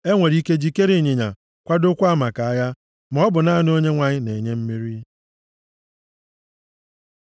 E nwere ike jikere ịnyịnya, kwadokwaa maka agha, maọbụ naanị Onyenwe anyị na-enye mmeri.